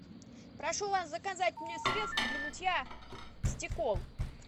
прошу вас заказать мне средство для мытья стекол